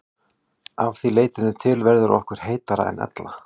Að því leytinu til verður okkur heitara en ella.